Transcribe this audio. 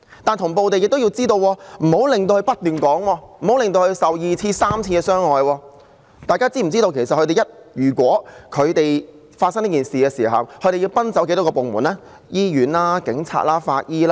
大家是否知道，一旦發生這種事情，受害人要奔走多少個部門呢？醫院、警察、法醫。